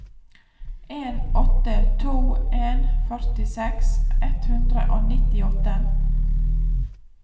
en åtte to en førtiseks ett hundre og nittiåtte